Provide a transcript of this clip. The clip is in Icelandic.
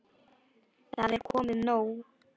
Það er komið nóg.